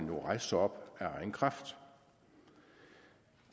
jo rejse sig op af egen kraft